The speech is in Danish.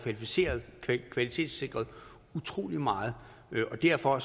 kvalitetssikret utrolig meget og derfor